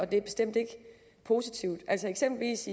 det er bestemt ikke positivt eksempelvis